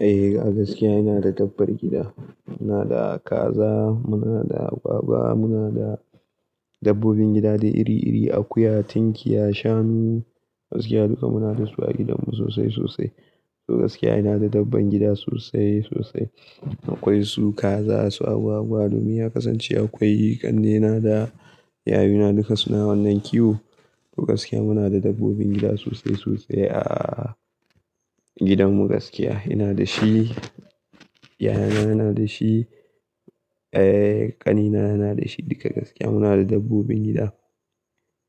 Eh gaskiya ina da dabbar gida. Muna da kaza, muna da agwagwa, muna da dabbobin gida de iri iri, akuya, tinkiya, shanu. Gaskiya duka muna da su a gidanmu sosai sosai. Toh gaskiya ina da dabban gida sosai sosai. Akwai su kaza, su agwagwa domin ya kasance akwai ƙannena da yayuna duka suna wannan kiwo. Toh gaskiya muna da dabbobin gida sosai sosai a gidanmu. Gaskiya ina da shi, yayana yana da shi, ƙanina yana da shi. Duka gaskiya muna da dabbobin gida.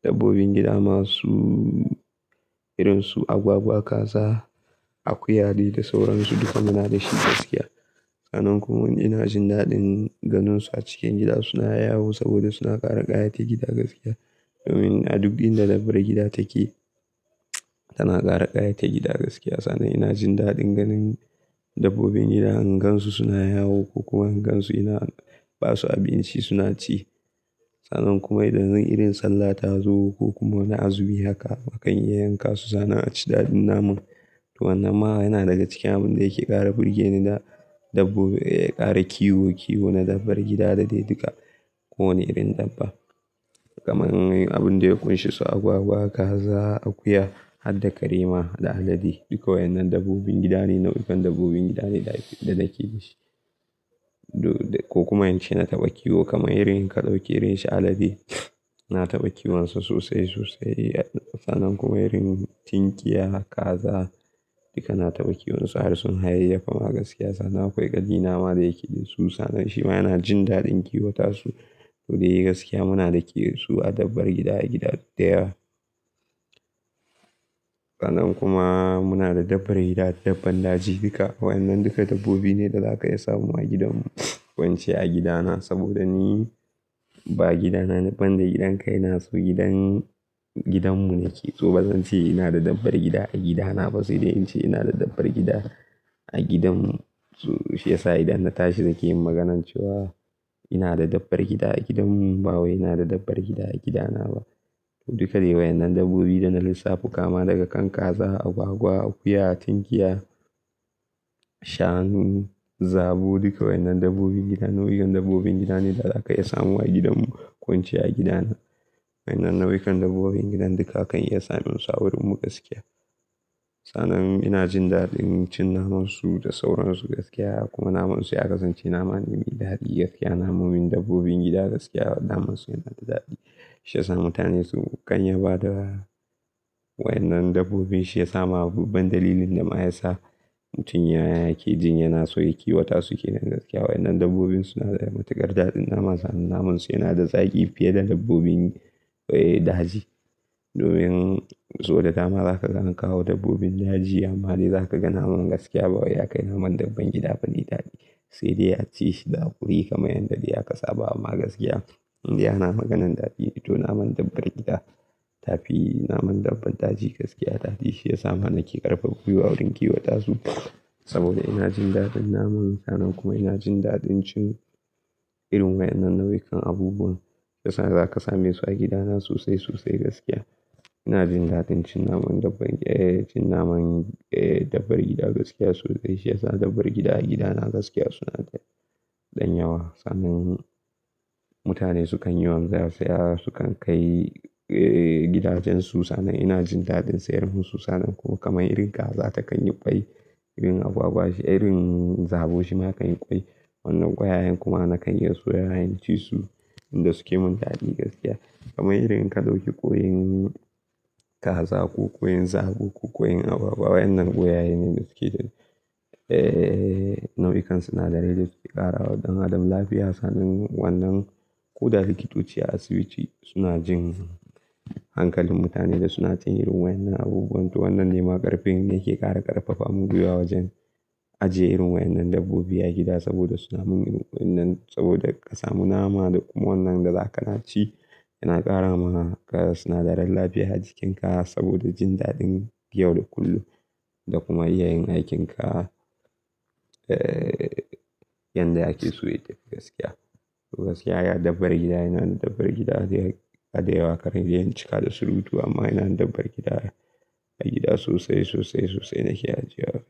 Dabbobin gida masu irinsu agwagwa, kaza, akuyane da sauransu duka muna da shi gaskiya. Sannan kuma ina jin daɗin ganinsu a cikin gida suna yawo saboda suna ƙara ƙayatar gida gaskiya. Domin a duk inda dabbar gida take tana ƙara ƙayatar gida gaskiya. Sannan ina jin daɗin ganin dabbobin gida hangansu suna yawo ko kuma hangansu ina ba su abinci suna ci. Sannan kuma idan irin sallah ta zo ko kuma wani azumi haka akan iya yanka su. Sannan a ci daɗin naman. Toh wannan ma yana daga cikin abin da yake ƙara burgeni na dabbobi, ƙara kiwo kiwo na dabbar gida da dai duka ko wane irin dabba. Kaman abin da ya ƙunshi su agwagwa, kaza, akuya har da karema da alade. Duka waɗannan dabbobin gida ne, nau'ikan dabbobin gida ne da ke da shi. Ko kuma ince na taɓa kiwo kamar irin ƙadauke irin shi alade. Na taɓa kiwonsa sosai sosai. Sannan kuma irin tinkiya, kaza duka na taɓa kiwonsa har sun hayayyafa ma gaskiya. Sannan akwai ƙali nama da yake yi su. Sannan shi ma yana jin daɗin kiwata su. Toh dai gaskiya muna ri ke su a dabbar gida a gida da yawa. Sannan kuma muna da dabbar gida, dabban daji duka. Waɗannan duka dabbobi ne da za ka iya samu a gidanmu. Ko ince a gidana saboda ni ba gidana ba dan gidan kai na so gidan, gidanmu ne ke. To bazan ce ina da dabbar gida a gidana ba sai dai in ce ina da dabbar gida a gidanmu. Shi yasa idan na tashi nake yin maganar cewa ina da dabbar gida a gidanmu ba wai ina da dabbar gida a gidana ba. To duka dai waɗannan dabbobi da na lissafta kama daga kan kaza, agwagwa, akuya, tinkiya, shanu, zabo duka wannan dabbobin gida nau'ukan dabbobin gida ne da za ka iya samu a gidanmu. Wance a gidana. Waɗannan nau'ikan dabbobin gida duka akan iya samun su a wurinmu gaskiya. Sannan ina jin daɗin cin naman su da sauran su gaskiya kuma naman su ya kasance nama mai daɗi gaskiya. Namomin dabbobin gida gaskiya naman su yana da daɗi. Shi yasa mutane sukan yaba da wannan dabbobin shi ya sa ma babban dalilin da ma ya sa mutum ya yake jin yana so ya kiwota su ke nan gaskiya. Waɗannan dabbobin suna da matukar daɗin nama. Sannan naman su yana da zaƙi fiye da dabbobin daji. Domin saboda dama za ka ganin kawo dabbobin daji ama dai za ka ga naman gaskiya bawa ya kai naman dabbar gida faɗi daɗi. Sai dai a ci shi da ƙuri kamar yadda ya kasaba ma gaskiya. Inda yana maganan daɗi. To naman dabbar gida tafi naman dabban daji gaskiya daɗi. Shi ya sa ma nake ƙarfafa ku yi wurin kiwota su saboda ina jin daɗin naman. Sannan kuma ina jin daɗin cin irin waɗannan nau'ikan abubuwan da sa za ka same su a gidana sosai sosai gaskiya. Ina jin daɗin cin naman dabbar, cin naman dabbar gida gaskiya sosai. Shi yasa dabbar gida a gidana gaskiya suna da ɗan yawa. Sannan mutane sukan yi wanzarsa, suna sukan kai gidajen su. Sannan ina jin daɗin sayar musu. Sannan kuma kamar irin kaza takan yi ƙwai, irin agwagwa shi irin zabo shi ma kan yi ƙwai. Wannan ƙwayayen kuma na kan iya soya ijun ci su inda suke mun daɗi gaskiya. Kamar irin ƙalauke ƙoyin kaza ko ƙoyin zabo ko ƙoyin agwagwa. Waɗannan ƙwayaye ne da suke nau'ikan sinadarai da suke ƙara wa ɗan adam lafiya. Sannan wannan ko da likitoci a asibiti suna jin hankalin mutane da suna cin irin waɗannan abubuwan. To wannan ne ma ƙarfin da yake ƙara ƙarfafa mu kuwa wajen ajiye irin waɗannan dabbobi a gida saboda suna mun irin wannan saboda ka samu nama da kuma wannan da za ka ci yana ƙara ma ka sinadaran lafiya jikinka saboda jin daɗin yau da kullum da kuma iya yin aikinka yadda yake so ya dace gaskiya. Toh gaskiya dabbar gida5na da dabbar gida da yawa. Kar na iya yin cika da surutu amma ina da dabbar gida a gida sosai sosai sosai nake ajiya su.